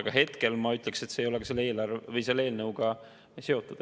Aga hetkel ma ütlen, see ei ole selle eelnõuga seotud.